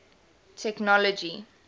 technology